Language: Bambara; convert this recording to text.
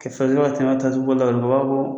Kɛfɛriyɔ tajugubɔ u b'a fɔ koo